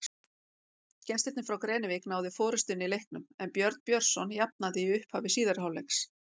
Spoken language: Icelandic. Gestirnir frá Grenivík náðu forystunni í leiknum en Björn Björnsson jafnaði í upphafi síðari hálfleiks.